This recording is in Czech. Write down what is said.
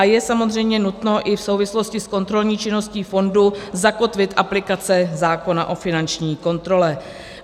A je samozřejmě nutno i v souvislosti s kontrolní činností fondu zakotvit aplikace zákona o finanční kontrole.